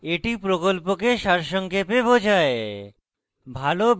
এটি প্রকল্পকে সারসংক্ষেপে বোঝায়